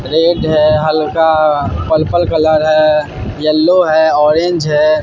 Red है हल्का purple colour है येलो है ऑरेंज है।